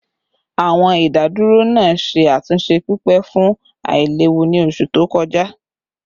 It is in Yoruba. Awọn idaduro naa ṣe atunṣe pipe fun ailewu ni oṣu to kọja